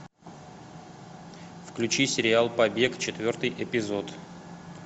включи сериал побег четвертый эпизод